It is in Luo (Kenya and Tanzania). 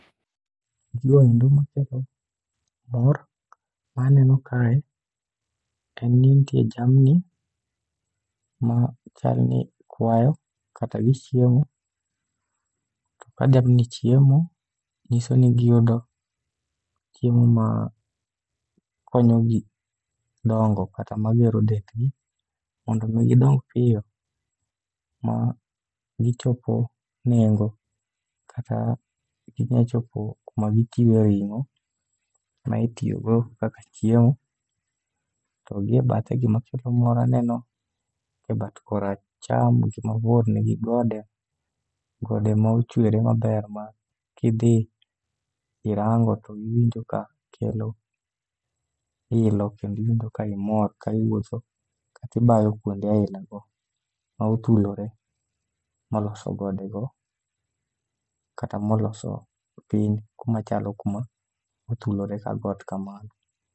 Gigoendo makelo mor ma aneno kae, en ni nitie jamni ma chalni kwayo kata gichiemo. To ka jamni chiemo, nyiso ni giyudo chiemo ma konyogi dongo kata magero dendgi mondo mi gidong piyo ma gichopo nengo kata ginyachopo kuma gichiwe ring'o ma itiyogo kaka chiemo. To gi e bathe, gimakelo mor aneno e bat koracham gimabor nigi gode, gode ma ochwere maber ma kidhi irango to iwinjo ka kelo ilo. Kendiwinjo ka imor ka iwuotho kati bayo kuonde aina go ma othulore moloso godego kata moloso piny kumachalo kuma othulore ka got kamano.